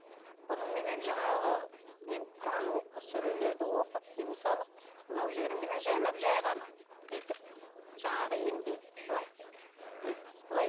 бұныменен жаңағы құран сүрелерді оқып дем салып мынау жеріменен жайлап жай ғана бүйтіп жаңағы емдеймін былай ммм былай